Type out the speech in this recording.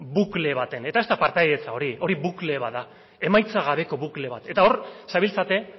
bukle baten eta ez da partaidetza hori hori bukle bat da emaitza gabeko bukle bat eta hor zabiltzate